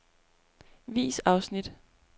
Vis afsnit.